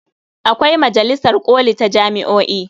Akwai majalisar ƙoli ta jami'o'i.